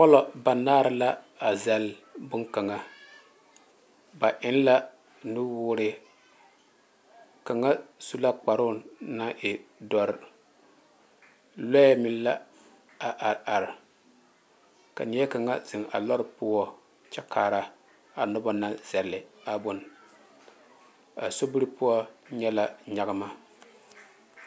Polɔ banaare la a zagle bon kaŋa ba eŋ la nu woɔre naŋ e doɔre lɔɛ meŋ la a are are ka nie kaŋa zeŋ a lɔre poɔ kyɛ kaara a noba naŋ zagle a bon a so biiri poɔ nyɛ la nyanma.